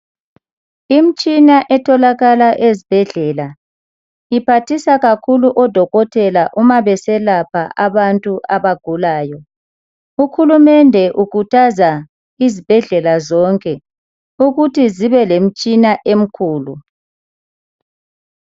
Imitshina etholakala ezibhedlela iphathisa kakhulu odokotela nxa beselapha abantu abagulayo. Uhulumende ukhuthaza izibhedlela zonke uku😀thi zibe lemitshina emikhulu.